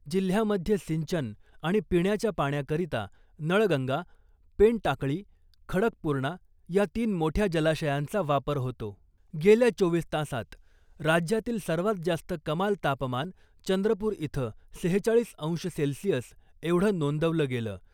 जिल्हयामध्ये सिंचन आणि पिण्याच्या पाण्याकरीता नळगंगा , पेनटाकळी , खडकपुर्णा या तीन मोठ्या जलाशयांचा वापर होतो. गेल्या चोवीस तासांत राज्यातील सर्वात जास्त कमाल तापमान चंद्रपुर इथं सेहेचाळीस अंश सेल्सिअस एवढं नोंदवलं गेलं .